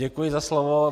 Děkuji za slovo.